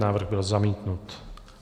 Návrh byl zamítnut.